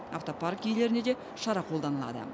автопарк иелеріне де шара қолданылады